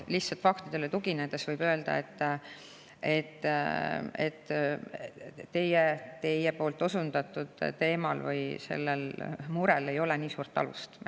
Lihtsalt faktidele tuginedes võib öelda, et teie murel ei ole nii suurt alust.